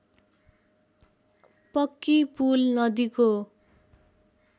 पक्की पुल नदीको